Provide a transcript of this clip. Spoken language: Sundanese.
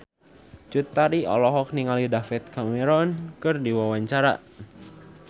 Cut Tari olohok ningali David Cameron keur diwawancara